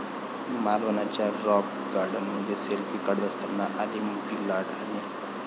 मालवणच्या रॉक गार्डनमध्ये सेल्फी काढत असताना आली मोठी लाट आणि...